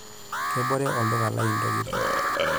Kebore olduka lai ntokitin.